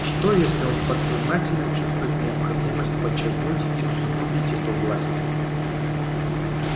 что если он подсознательно чувствует необходимость подчеркнуть и усугубить эту власть